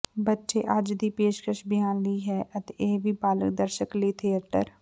ਬੱਚੇ ਅੱਜ ਦੀ ਪੇਸ਼ਕਸ਼ ਬਿਆਨ ਲਈ ਹੈ ਅਤੇ ਇਹ ਵੀ ਬਾਲਗ ਦਰਸ਼ਕ ਲਈ ਥੀਏਟਰ